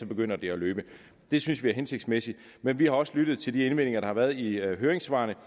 begynder det at løbe det synes vi er hensigtsmæssigt men vi har også lyttet til de indvendinger der har været i høringssvarene